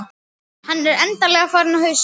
Hann er endanlega farinn á hausinn.